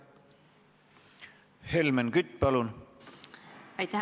Helmen Kütt, palun!